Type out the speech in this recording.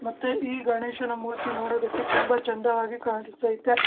ಮತ್ತೆ ಈ ಗಣೇಶನ ಮೂರ್ತಿ ನೋಡೋದಕ್ಕೆ ತುಂಬಾ ಚಂದವಾಗಿ ಕಾಣಿಸ್ತೖತೆ.